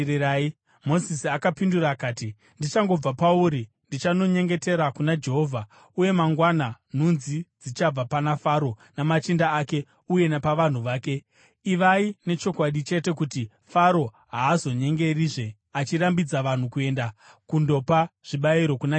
Mozisi akapindura akati, “Ndichangobva pauri, ndichanonyengetera kuna Jehovha, uye mangwana nhunzi dzichabva pana Faro namachinda ake uye napavanhu vake. Ivai nechokwadi chete kuti Faro haazonyengerizve achirambidza vanhu kuenda kundopa zvibayiro kuna Jehovha.”